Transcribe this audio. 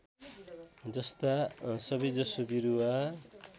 जस्ता सबैजसो बिरुवा